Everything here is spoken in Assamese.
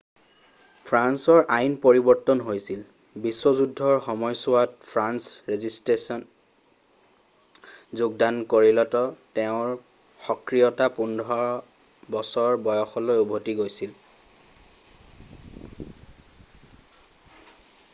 ফ্ৰান্সৰ আইন পৰিবৰ্তন হৈছিল ii বিশ্ব যুদ্ধৰ সময়ছোৱাত ফ্ৰেন্স ৰেজিছষ্টেন্সত যোগদান কৰিলত তেওঁৰ সক্ৰিয়তা 15 বছৰ বয়সলৈ উভতি গৈছিল